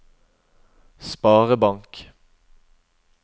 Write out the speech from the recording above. sparebank